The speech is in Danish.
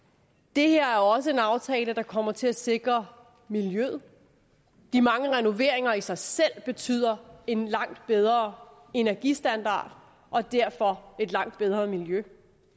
det her er også en aftale der kommer til at sikre miljøet de mange renoveringer i sig selv betyder en langt bedre energistandard og derfor et langt bedre miljø